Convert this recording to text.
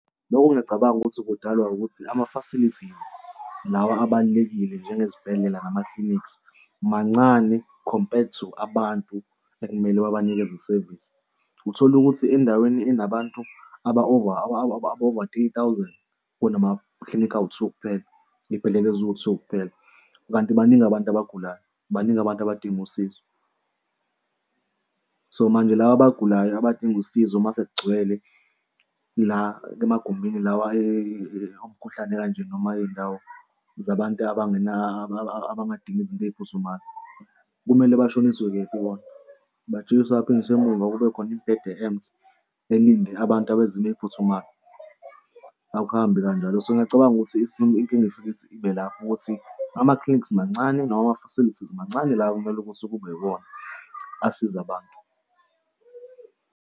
Lokhu ngiyacabanga ukuthi kudalwa ukuthi ama-facilities lawa abalulekile njengezibhedlela nama-clinics mancane compared to abantu ekumele babanikeze isevisi. Uthola ukuthi endaweni enabantu aba over aba over three thousand kunama-clinic awu-two wokuphela, iy'bhedlela ezi-two sokuphela, kanti baningi abantu abagulayo baningi abantu abadinga usizo. So manje laba abagulayo abadinga usizo uma sekugcwele la emagumbini la omkhuhlane kanje noma iy'ndawo zabantu abangena abangadingi izinto ey'phuthumayo kumele bashoniswe kephi bona? Bajikiswe baphindiswe emuva kube khona imibhede e-empty elinde abantu abezimo ey'phuthumayo akuhambi kanjalo. So ngiyacabanga ukuthi isimo inkinga ifike ibe lapho ukuthi ama-clinics mancane noma ama-facilities mancane la okumele ukuthi kube yiwona asiza abantu.